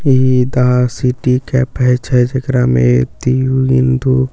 इ दा city cafe छै जेकरा में इकतिऊ इंदु चा--